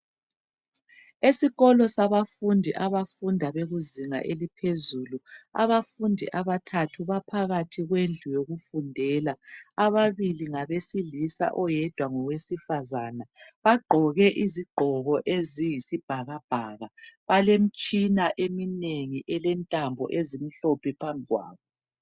Esikolo sabafundi abafunda bekuzinga eliphezulu. Abafundi abathathi baphakathi kwendlu yokufundela, ababili ngabesilisa, oyedwa ngowesifazana. Bagqoke iziqgoko eziyisibhakabhaka. Balemtshina eminengi elentambo ezimhlophe phambikwabo.